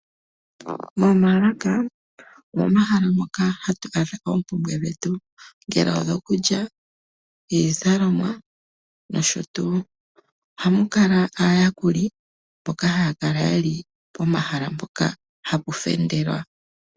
Momaalaka, omomahala moka hatu adha oompumbwe dhetu, ngele odhokulya, iizalomwa noshotuu. Ohamu kala aayakuli mboka haya kala ye li pomahala mpoka hapu fendelwa.